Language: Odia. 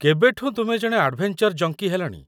କେବେଠୁଁ ତୁମେ ଜଣେ ଆଡ଼ଭେଞ୍ଚର୍ ଜଙ୍କି ହେଲଣି?